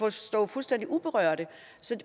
at stå fuldstændig uberørte